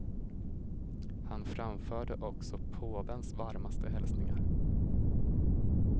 Han framförde också påvens varmaste hälsningar.